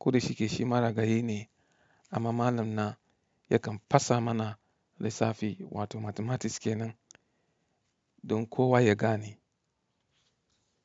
Kodai shi ke shi mara gani ne, amma malam na yakan fasa mana lissafi wato mathematics kenan don kowa ya gane.